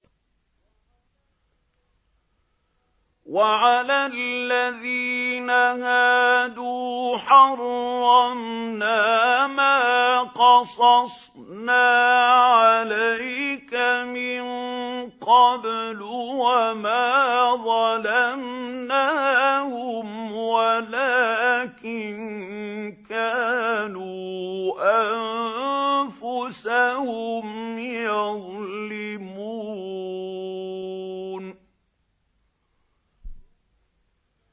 وَعَلَى الَّذِينَ هَادُوا حَرَّمْنَا مَا قَصَصْنَا عَلَيْكَ مِن قَبْلُ ۖ وَمَا ظَلَمْنَاهُمْ وَلَٰكِن كَانُوا أَنفُسَهُمْ يَظْلِمُونَ